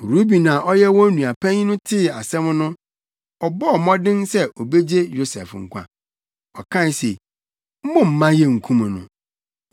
Ruben a ɔyɛ wɔn nua panyin tee saa asɛm no, ɔbɔɔ mmɔden sɛ obegye Yosef nkwa. Ɔkae se, “Mommma yenkum no.